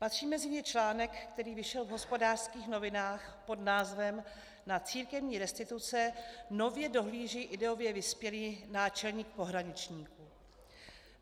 Patří mezi ně článek, který vyšel v Hospodářských novinách pod názvem Na církevní restituce nově dohlíží ideově vyspělý náčelník pohraničníků.